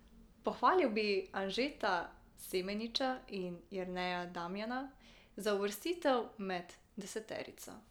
Pohvalil bi Anžeta Semeniča in Jerneja Damjana za uvrstitvi med deseterico.